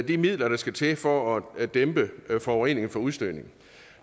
de midler der skal til for at dæmpe forureningen fra udstødningen